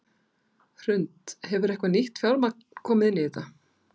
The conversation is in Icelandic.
Hrund: Hefur eitthvað nýtt fjármagn komið inn í þetta?